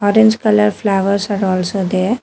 Orange colour flowers are also there.